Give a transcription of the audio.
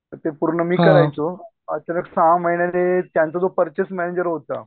ते पूर्ण मी करायचो सहा महिन्यांनी त्यांचा जो पर्चेस मॅनेजर होता.